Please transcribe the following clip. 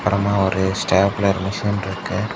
அப்றமா ஒரு stapler machine இருக்கு.